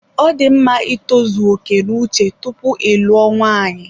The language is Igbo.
Ọ dị mma itozu oke n'uche tupu ịlụo nwaanyị.